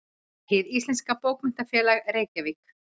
Hið íslenska bókmenntafélag: Reykjavík.